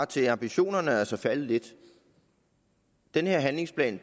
til at ambitionerne altså er faldet lidt den her handlingsplan